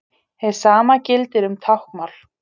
Hið sama gildir um táknmál.